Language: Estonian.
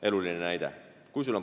Eluline näide.